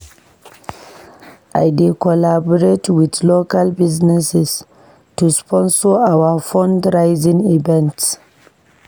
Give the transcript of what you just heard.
We dey collaborate with local businesses to sponsor our fundraising events.